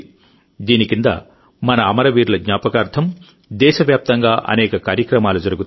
దీని కింద మన అమరవీరుల జ్ఞాపకార్థం దేశవ్యాప్తంగా అనేక కార్యక్రమాలు జరుగుతాయి